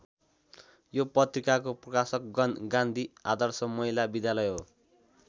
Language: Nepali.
यो पत्रिकाको प्रकाशक गान्धी आदर्श महिला विद्यालय हो।